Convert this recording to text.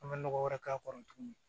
An bɛ nɔgɔ wɛrɛ k'a kɔrɔ tuguni